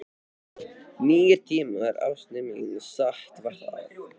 Nýir tímar, ástin mín, satt var það.